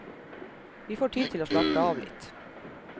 Vi får tid til å slappe av litt.